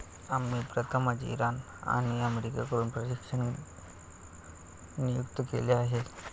आम्ही प्रथमच इराण आणि अमेरिकेहून प्रशिक्षक नियुक्त केले आहेत.